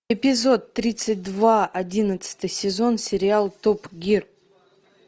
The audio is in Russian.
эпизод тридцать два одиннадцатый сезон сериал топ гир